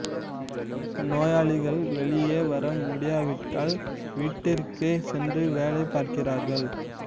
நோயாளிகள் வெளியே வர முடியாவிட்டால் வீட்டிற்கே சென்று வேலை பார்க்கிறார்கள்